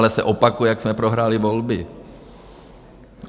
Stále se opakuje, jak jsme prohráli volby.